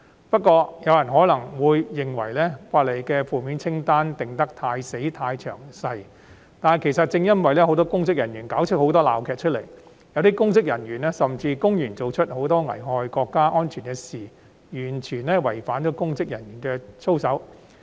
不過，可能有人認為《條例草案》的負面清單寫得太死板、太詳細，但這正是由於很多公職人員上演了很多鬧劇，有些甚至公然做出危害國家安全的行為，完全違反公職人員的操守。